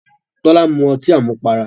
Tọ́lá mu ọtí àmupara.